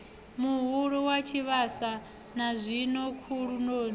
muhulu wa tshivhasa nazwino khulunoni